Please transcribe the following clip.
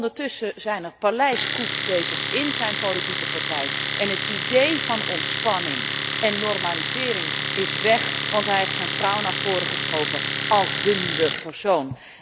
Ondertussen zijn er paleiscoups bezig in zijn politieke partij en het idee van ontspanning en normalisering is weg, want hij heeft zijn vrouw naar voren geschoven als de nieuwe persoon.